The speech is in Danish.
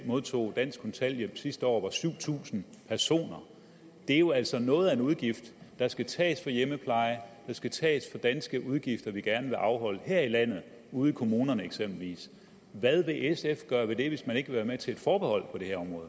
modtog dansk kontanthjælp sidste år var syv tusind personer det er jo altså noget af en udgift der skal tages fra hjemmepleje der skal tages danske udgifter vi gerne vil afholde her i landet ude i kommunerne eksempelvis hvad vil sf gøre ved det hvis man ikke vil være med til et forbehold